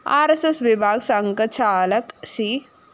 R S S വിഭാഗ് സംഘചാലക് C